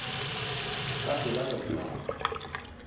ka pela ba be ba